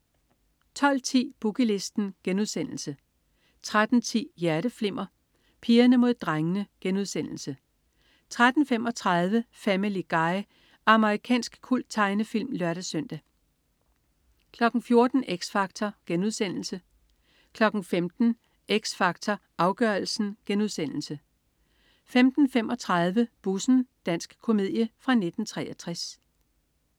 12.10 Boogie Listen* 13.10 Hjerteflimmer: Pigerne mod drengene* 13.35 Family Guy. Amerikansk kulttegnefilm (lør-søn) 14.00 X Factor* 15.00 X Factor Afgørelsen* 15.35 Bussen. Dansk komedie fra 1963